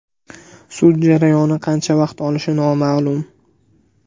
Sud jarayoni qancha vaqt olishi noma’lum.